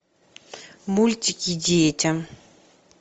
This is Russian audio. мультики детям